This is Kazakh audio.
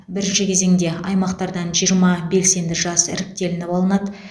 бірінші кезеңде аймақтардан жиырма белсенді жас іріктелініп алынады